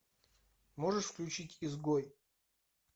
можешь включить изгой